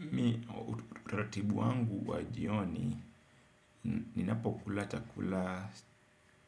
Mimi utaratibu wangu wa jioni, ninapokula chakula